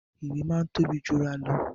Ìwé máa ń tóbi jura lọ